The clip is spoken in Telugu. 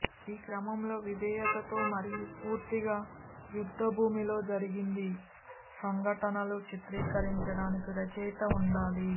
ఈ క్రమంలో విధేయతతో మరియు పూర్తిగా యుద్ధభూమిలో జరిగింది సంఘటనలు చిత్రీకరించడానికి రచయిత ఉండాలి